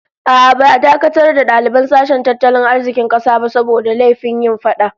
A'a, ba'a dakatar da daliban sashen tattalin arzikin kasa ba saboda laifin yin fada